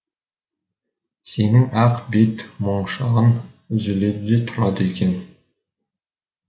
сенің ақ бет моншағың үзіледі де тұрады екен